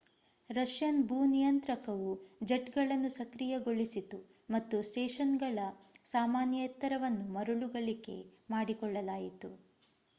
Russian ಭೂ ನಿಯಂತ್ರಕವು ಜೆಟ್‌ಗಳನ್ನು ಸಕ್ರಿಯಗೊಳಿಸಿತು ಮತ್ತು ಸ್ಟೇಷನ್‌ನ ಸಾಮಾನ್ಯ ಎತ್ತರವನ್ನು ಮರುಗಳಿಕೆ ಮಾಡಿಕೊಳ್ಳಲಾಯಿತು